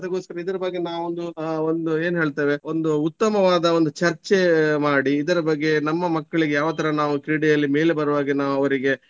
ಅದಕ್ಕೋಸ್ಕರ ಇದರ ಬಗ್ಗೆ ನಾವೊಂದು ಆಹ್ ಒಂದು ಏನ್ ಹೇಳ್ತೇವೆ ಒಂದು ಉತ್ತಮವಾದ ಒಂದು ಚರ್ಚೆ ಮಾಡಿ ಇದರ ಬಗ್ಗೆ ನಮ್ಮ ಮಕ್ಕಳಿಗೆ ಯಾವತರ ನಾವು ಕ್ರೀಡೆಯಲ್ಲಿ ಮೇಲೆ ಬರುವ ಹಾಗೆ ನಾವು ಅವರಿಗೆ.